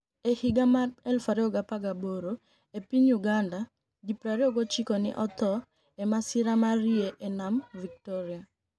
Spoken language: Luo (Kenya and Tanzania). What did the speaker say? E higa mar 2018 e piniy Uganida, ji 29 ni e otho e masira mar yie e niam Victoria.